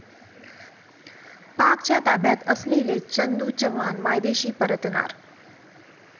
पाकच्या ताब्यात असलेले चंदू चव्हाण मायदेशी परतणार